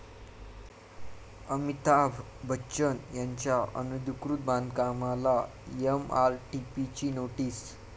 अमिताभ बच्चन यांच्या अनधिकृत बांधकामाला एमआरटीपीची नोटीस